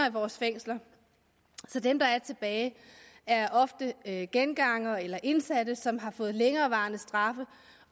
i vores fængsler så dem der er tilbage ofte er gengangere eller indsatte som har fået længerevarende straffe